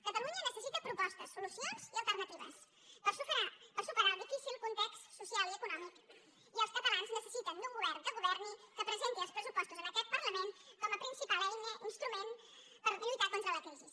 catalunya necessita propostes solucions i alternatives per superar el difícil context social i econòmic i els catalans necessiten un govern que governi que presenti els pressupostos en aquest parlament com a principal eina instrument per lluitar contra la crisi